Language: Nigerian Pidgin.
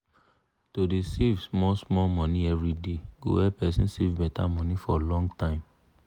to dey save small-small money everyday go help person save better money for long time.